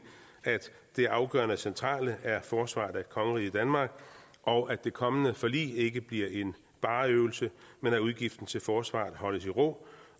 at det afgørende og centrale er forsvaret af kongeriget danmark og at det kommende forlig ikke bliver en spareøvelse men at udgiften til forsvaret holdes i ro